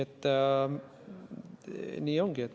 Nii ongi.